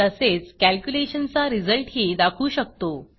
तसेच कॅल्क्युलेशन चा रिझल्टही दाखवू शकतो